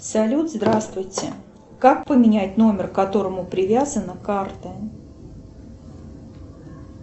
салют здравствуйте как поменять номер к которому привязана карта